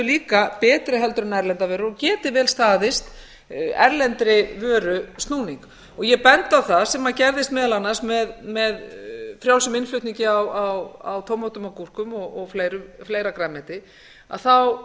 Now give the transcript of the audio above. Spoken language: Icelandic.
líka betri en erlendar vörur og geti vel staðið erlendri vöru snúning ég bendi á það sem gerðist meðal annars með frjálsum innflutningi á tómötum og gúrkum og fleira grænmeti að þá